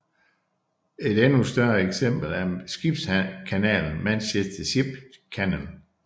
Et endnu større eksempel er skibskanalen Manchester Ship Canal